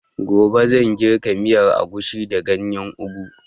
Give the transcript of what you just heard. Gobe zan girka miyan agushi da ganyan ogu